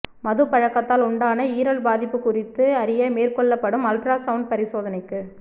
மதுப் பழக்கத்தால் உண்டான ஈரல் பாதிப்பு குறித்து அறிய மேற்கொள்ளப்படும் அல்ட்ரா சவுண்ட் பரிசோதனைக்கு